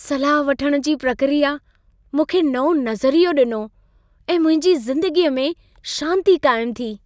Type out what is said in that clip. सलाह वठण जी प्रकिया मूंखे नओं नज़रियो ॾिनो ऐं मुंहिंजी ज़िंदगीअ में शांती क़ाइम थी।